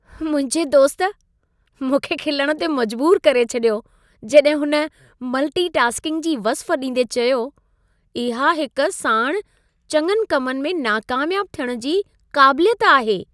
मुंहिंजे दोस्त, मूंखे खिलण ते मजबूरु करे छॾियो जॾहिं हुन मल्टी-टास्किंग जी वस्फ़ ॾींदे चयो, इहा हिक साणि चङनि कमनि में नाकामियाब थियण जी क़ाबिलियत आहे।